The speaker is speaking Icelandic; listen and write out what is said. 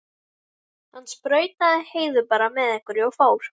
Hann sprautaði Heiðu bara með einhverju og fór.